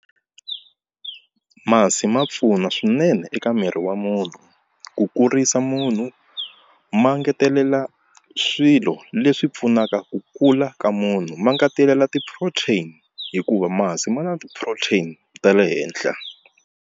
Masi ma pfuna swinene eka miri wa munhu ku kurisa munhu ma ngetelela swilo leswi pfunaka ku kula ka munhu ma ngetelela ti-protein hikuva masi ma na ti-protein ta le henhla.